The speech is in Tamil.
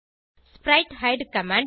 ஸ்பிரைட்ஹைடு கமாண்ட்